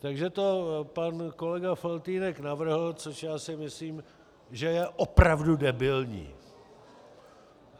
Takže to pan kolega Faltýnek navrhl, což já si myslím, že je opravdu debilní.